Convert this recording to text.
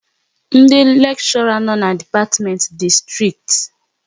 Ndị lekshora no n'dipatimenti dị strikt